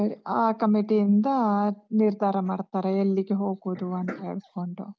ಆ committee ಇಂದಾ ನಿರ್ಧಾರ ಮಾಡ್ತಾರೆ, ಎಲ್ಲಿಗೆ ಹೋಗುದು ಅಂತ ಹೇಳ್ಕೊಂಡು.